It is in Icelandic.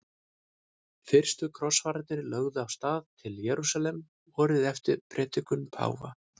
Fyrstu krossfararnir lögðu af stað til Jerúsalem vorið eftir predikun páfa.